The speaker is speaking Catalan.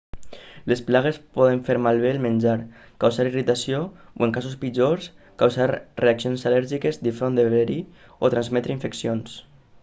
les plagues poden fer malbé el menjar causar irritació o en casos pitjors causar reaccions al·lèrgiques difondre verí o transmetre infeccions